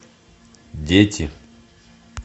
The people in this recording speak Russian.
дети